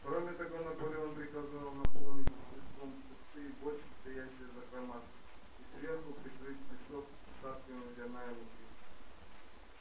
кроме того наполеон приказал наполнить песком пустые бочки стоящие в закрома и сверху прикрыть песок остатками зерна и муки